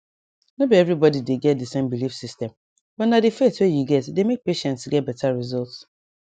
no be everybody get dey same belief system but na dey faith wey you get dey make patients get better result